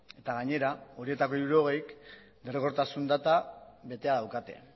eta gainera horietako hirurogeik derrigortasun data betea daukate